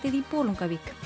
í Bolungarvík